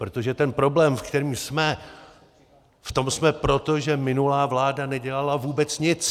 Protože ten problém, ve kterém jsme, v tom jsme proto, že minulá vláda nedělala vůbec nic.